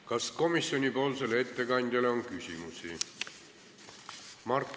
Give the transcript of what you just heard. Kas komisjoni ettekandjale on küsimusi?